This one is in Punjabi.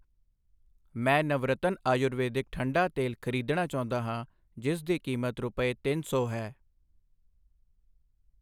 ਮੈਂ ਨਵਰਤਨਾ ਆਯੁਰਵੈਦਿਕ ਠੰਡਾ ਤੇਲ ਖਰੀਦਣਾ ਚਾਹੁੰਦਾ ਹਾਂ ਜਿਸ ਦੀ ਕੀਮਤ ਰੁਪਏ ਤਿੰਨ ਸੌ ਹੈI